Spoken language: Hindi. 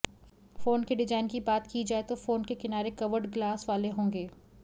फोन के डिजाइन की बात की जाए तो फोन के किनारे कर्व्ड ग्लास वाले होंगे